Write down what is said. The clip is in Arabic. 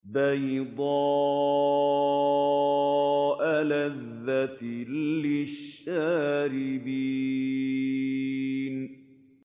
بَيْضَاءَ لَذَّةٍ لِّلشَّارِبِينَ